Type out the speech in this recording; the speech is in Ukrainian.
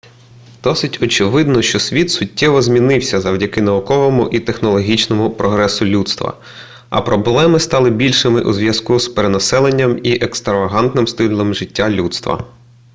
досить очевидно що світ суттєво змінився завдяки науковому і технологічному прогресу людства а проблеми стали більшими у зв'язку з перенаселенням і екстравагантним стилем життя людства